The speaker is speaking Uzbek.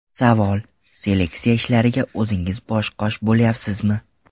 Savol: Seleksiya ishlariga o‘zingiz bosh-qosh bo‘lyapsizmi?